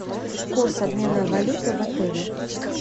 курс обмена валюты в отеле